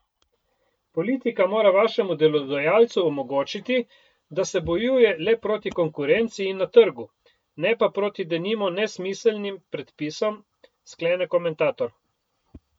Politika mora vašemu delodajalcu omogočiti, da se bojuje le proti konkurenci in na trgu, ne pa proti denimo nesmiselnim predpisom, sklene komentator.